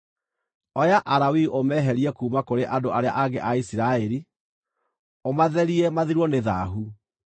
“Oya Alawii ũmeherie kuuma kũrĩ andũ arĩa angĩ a Isiraeli, ũmatherie mathirwo nĩ thaahu.